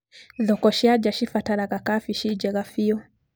Thoko cia nja cibataraga kabici njega biũ.